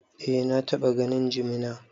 Eh, na taɓa ganin jimina.